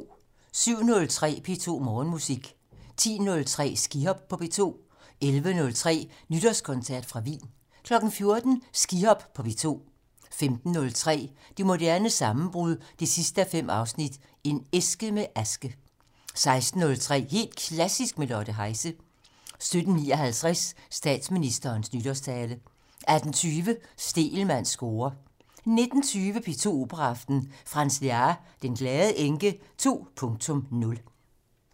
07:03: P2 Morgenmusik 10:03: Skihop på P2 11:03: Nytårskoncert fra Wien 14:00: Skihop på P2 15:03: Det moderne sammenbrud 5:5 - En æske med aske 16:03: Helt Klassisk med Lotte Heise 17:59: Statsministerens nytårstale 18:20: Stegelmanns score 19:20: P2 Operaaften - Franz Lehár: Den Glade Enke 2.0